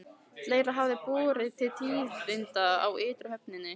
Fleira hafði borið til tíðinda á ytri höfninni.